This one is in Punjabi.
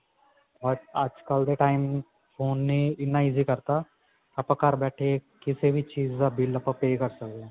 ਪਰ ਅੱਜਕਲ ਦੇ time phone ਨੇ ਇੰਨਾ easy ਕਰਤਾ ਆਪਾਂ ਘਰ ਬੈਠੇ ਕਿਸੇ ਵੀ ਚੀਜ਼ ਡ ਬਿਲ ਆਪਾਂ pay ਕਰ ਸਕੇ ਹਾਂ